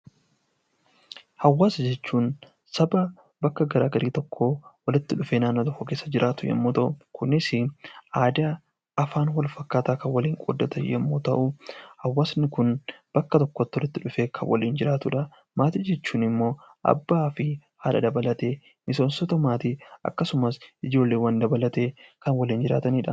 Hawaasa jechuun Saba bakka garaagaraa tokko walitti dhufee naannoo tokko keessa jiraatu yoo ta'u, Kunis aadaa, afaan wal fakkaataa kan waliin qooddatan yommuu ta'u, hawaasni Kun bakka tokkotti walitti dhufee kan waliin jiraatudha. Maatii jechuun immoo abbaa fi haadha dabalatee miseensota maatii akkasumas ijoollee dabalatee kan waliin jiraatanidha